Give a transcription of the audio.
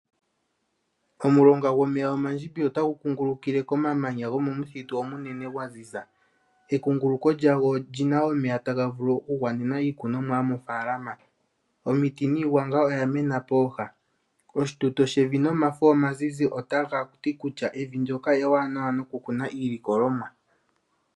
Omulonga gomeya omandjimbi otagu kugulukile komamanya gomomuthitu omunene gwaziza ekuguluko lyago olina omeya taga vulu okugwanena iikunonwa yomofalama. Omiti niigwanga oyamena poha oshituto shevi nomafo omazizi taga tikutya evi ewanawa nokukuna iilikolonwa.